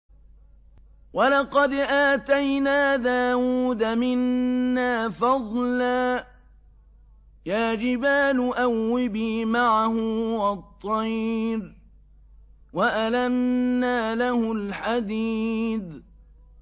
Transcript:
۞ وَلَقَدْ آتَيْنَا دَاوُودَ مِنَّا فَضْلًا ۖ يَا جِبَالُ أَوِّبِي مَعَهُ وَالطَّيْرَ ۖ وَأَلَنَّا لَهُ الْحَدِيدَ